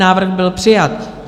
Návrh byl přijat.